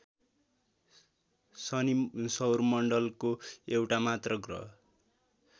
शनि सौरमण्डलको एउटामात्र ग्रह